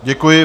Děkuji.